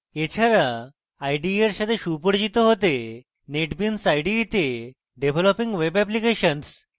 এছাড়া ide এর সাথে সুপরিচিত হতে netbeans ide তে developing web applications এবং